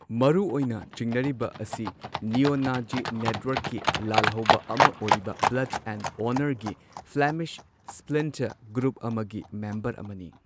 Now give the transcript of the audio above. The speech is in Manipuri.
ꯃꯔꯨꯑꯣꯢꯅ ꯆꯤꯡꯅꯔꯤꯕ ꯑꯁꯤ ꯅꯤꯌꯣ ꯅꯥꯖꯤ ꯅꯦꯠꯋꯥꯔꯛꯀꯤ ꯂꯥꯜꯍꯧꯕ ꯑꯃ ꯑꯣꯏꯔꯤꯕ ꯕ꯭ꯂꯗ ꯑꯦꯟ ꯑꯣꯅꯔꯒꯤ ꯐ꯭ꯂꯦꯃꯤꯁ ꯁ꯭ꯞ꯭ꯂꯤꯟꯇꯔ ꯒ꯭ꯔꯨꯞ ꯑꯃꯒꯤ ꯃꯦꯝꯕꯔ ꯑꯃꯅꯤ꯫